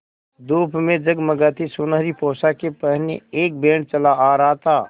धूप में जगमगाती सुनहरी पोशाकें पहने एक बैंड चला आ रहा था